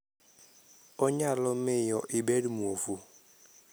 Onyalo miyo ibed mwofu.